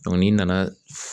n'i nana